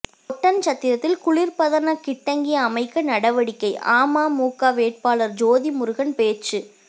ஒட்டன்சத்திரத்தில் குளிர்பதன கிட்டங்கி அமைக்க நடவடிக்கை அமமுக வேட்பாளர் ஜோதிமுருகன் பேச்சு